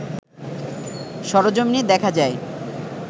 সরজমিনে দেখা যায়